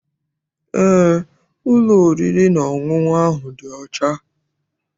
Eé, ụlọ oriri na ọṅụṅụ ahụ dị ọcha.